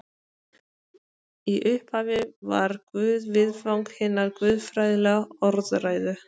Í upphafi var Guð viðfang hinnar guðfræðilegu orðræðu.